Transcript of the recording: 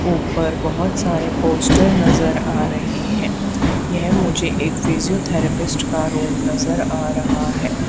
ऊपर बहोत सारे पोस्टर नजर आ रहे हैं ये मुझे एक फिजियोथैरेपिस्ट का रूम नजर आ रहा है।